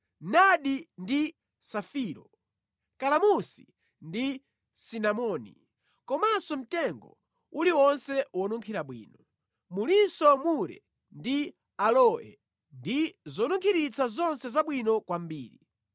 nadi ndi safiro, kalamusi ndi sinamoni, komanso mtengo uliwonse wonunkhira bwino. Mulinso mure ndi aloe ndi zonunkhiritsa zonse zabwino kwambiri.